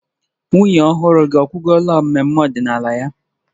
Nwunye ọhụrụ gị akwụgola mmemme ọdịnala ya